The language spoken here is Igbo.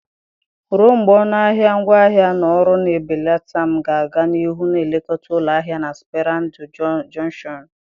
Ruo mgbe ọnụ ahịa ngwaahịa na ọrụ na-ebelata, m ga-aga n'ihu na-elekọta ụlọ ahịa na Sperando Jọnshọnụ